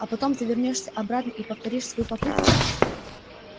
а потом ты вернёшься обратно и повторишь свою попытку